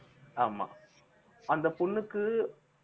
ஆமா அந்த பொண்ணுக்கு